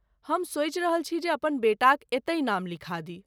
हम सोचि रहल छी जे अपन बेटाक एतहि नाम लिखा दी।